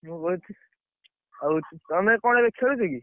ମୁଁ ବଇଛି, ଆଉ ତମେ କଣ ଏବେ ଖେଳୁଛ କି?